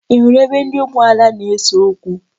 Ị hụrụ ebe ndị ụmụada na-ese okwu?